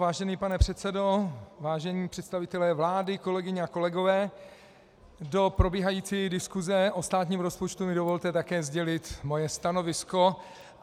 Vážený pane předsedo, vážení představitelé vlády, kolegyně a kolegové, do probíhající diskuze o státním rozpočtu mi dovolte také sdělit svoje stanovisko.